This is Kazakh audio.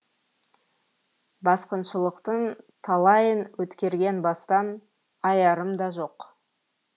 басқыншылықтың талайын өткерген бастан аярым да жоқ